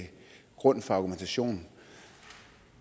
grund for argumentationen